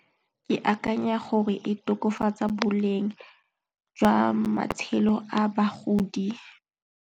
Ke akanya gore e tokafatsa boleng jwa matshelo a bagodi.